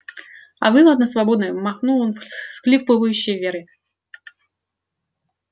а вы ладно свободны махнул он всхлипывающей вере